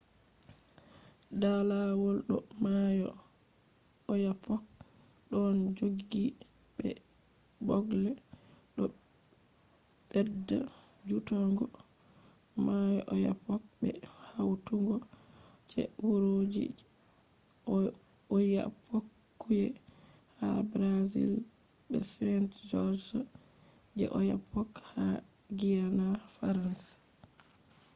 da lawol do mayo oyapock ɗon joggi be ɓoogl. ɗo ɓedda jutugo mayo oyapock be hautugo je wuroji je oiapoque ha brazil be saint-georges je oyapock ha guiana faransa